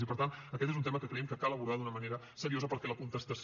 i per tant aquest és un tema que creiem que cal abordar d’una manera seriosa perquè la contestació